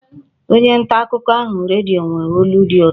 Onye nta akụkọ ahụ redio nwere olu dị ụtọ